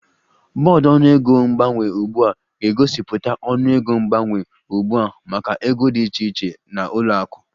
Bọọdụ ọnụego mgbanwe ugbu a ga-egosipụta ọnụego mgbanwe ugbu a maka ego dị iche iche na ụlọ akụ